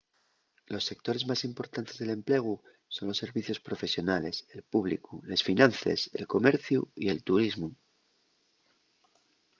los sectores más importantes del emplegu son los servicios profesionales el públicu les finances el comerciu y el turismu